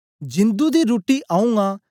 जिंदु दी रुट्टी आऊँ आं